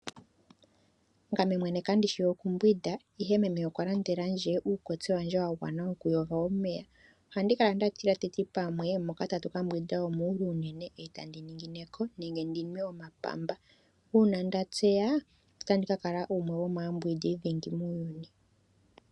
Ngame mwene kandishi oku mbwinda ihe meme okwa landela ndje uukotse wandje uuwanawa woku yoga omeya. Ohandi kala nda tila pamwe teti moka tatu ka mbwinda omuule unene e tandi ningineko nenge ndinwe omapamba. Uuna nda tseya otandi ka kala gumwe gomaambwindi dhingi muuyuni.